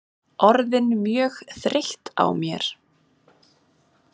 Orðin mjög þreytt á mér.